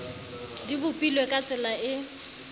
di bopilwe ka tsela e